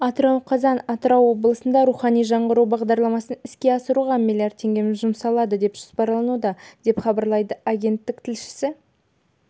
атырау қазан атырау облысында рухани жаңғыру бағдарламасын іске асыруға млрд теңге жұмсалады деп жоспарлануда деп хабарлайды агенттік тілшісі